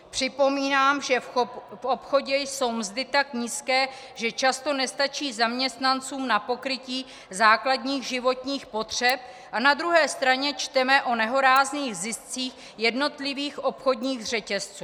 Připomínám, že v obchodě jsou mzdy tak nízké, že často nestačí zaměstnancům na pokrytí základních životních potřeb, a na druhé straně čteme o nehorázných ziscích jednotlivých obchodních řetězců.